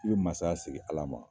I bɛ mansaya segin Ala ma.